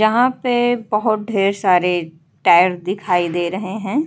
जहाँ पे बहोत ढेर सारे टायर दिखाई दे रहे हैं।